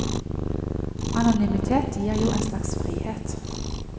Anonymitet gir jo en slags frihet.